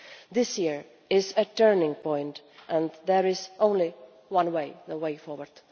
This year is a turning point and there is only one way the way forward.